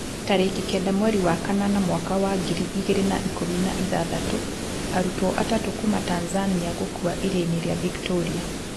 Tariki kenda mweri wa kanana mwaka wa ngiri igĩrĩ na ikũmi na ithathatũ, Arutwo atatũ kuma Tanzania gũkua iria-inĩ rĩa Victoria